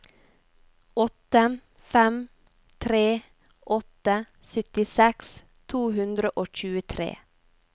åtte fem tre åtte syttiseks to hundre og tjuetre